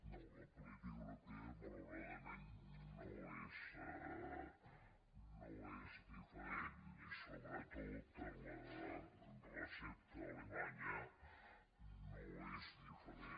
no la política europea malauradament no és diferent i sobretot la recepta alemanya no és diferent